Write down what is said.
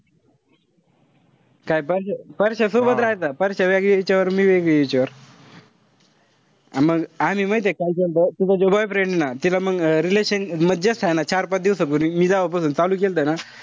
काय प परश्या सोबतच राहायचा. परश्या वेगळ्या हिच्यावर, मी वेगळी हिच्यावर. मग आम्ही माहितीय काय तिचा जो boyfriend ना तिला मंग relationship हाये ना चार-पाच दिवसापूर्वी. मी जेव्हा पासून चालू केलंत ना,